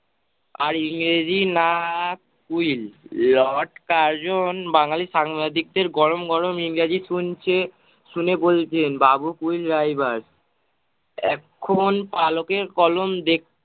আর ইংরেজি না quill lord Curzon বাঙালি সাংবাদিকদের গরম গরম ইংরেজি শুনছে, শুনে বলছে বাবু কুল driver এখন পালকের কলম দেখ-